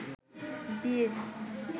বিয়ে